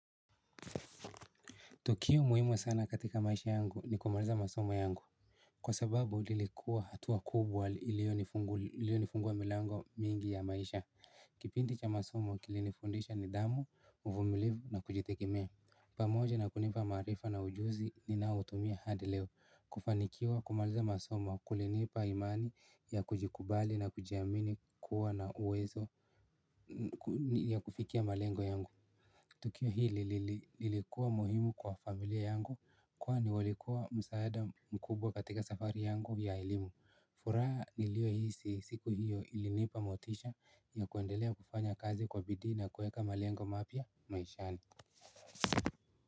Tukio muhimu sana katika maisha yangu ni kumaliza masomo yangu kwa sababu lilikuwa hatua kubwa ilio nifungulia milango mingi ya maisha Kipindi cha masomo kilinifundisha nidhamu, uvumilivu na kujitekemea pamoja na kunipa maarifa na ujuzi ninao utumia hadi leo kufanikiwa kumaliza masomo kulinipa imani ya kujikubali na kujiamini kuwa na uwezo ya kufikia malengo yangu Tukio hili lilikuwa muhimu kwa familia yangu kwani walikuwa msaada mkubwa katika safari yangu ya elimu furaha niliohisi siku hiyo ilinipa motisha ya kuendelea kufanya kazi kwa bidii na kueka malengo mapya maishani.